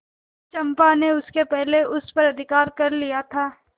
चंपा ने इसके पहले उस पर अधिकार कर लिया था